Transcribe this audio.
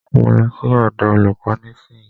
Mo ń lọ sí ọ̀dọ̀ olúkò nísìyí.